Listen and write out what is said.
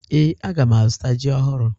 Ee, aga m azụta ji ọhụrụ.